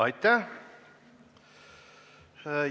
Aitäh!